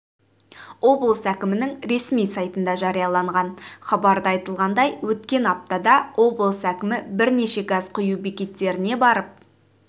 облыс әкімінің ресми сайтында жарияланған хабарда айтылғандай өткен аптада облыс әкімі бірнеше газ құю бекеттеріне барып